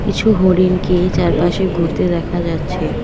কিছু হরিণকে চারপাশে ঘুরতে দেখা যাচ্ছে।